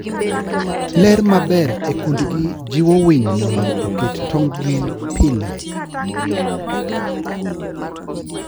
Ler maber e kundgi jiwo winy mondo oket tong'gi pile.